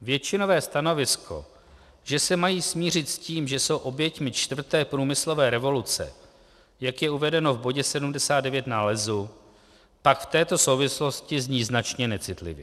Většinové stanovisko, že se mají smířit s tím, že jsou oběťmi čtvrté průmyslové revoluce, jak je uvedeno v bodě 79 nálezu, pak v této souvislosti zní značně necitlivě.